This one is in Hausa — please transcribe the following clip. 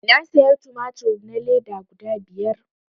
Na saya tumatur na leda guda biyar